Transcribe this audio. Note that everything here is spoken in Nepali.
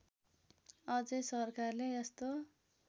अझै सरकारले यस्तो